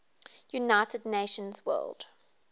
united nations world